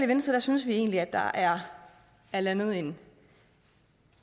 venstre synes vi egentlig der er er landet en